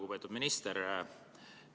Lugupeetud minister!